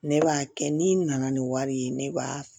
Ne b'a kɛ n'i nana ni wari ye ne b'a